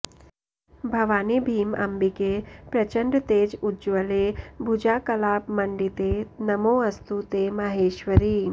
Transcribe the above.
भवानि भीम अम्बिके प्रचण्डतेज उज्ज्वले भुजाकलापमण्डिते नमोऽस्तु ते महेश्वरि